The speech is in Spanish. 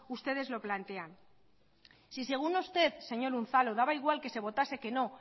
ustedes lo plantean si según usted señor unzalu daba igual que se votase que no